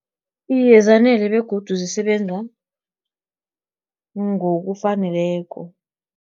Iye, zanele begodu zisebenza ngokufaneleko.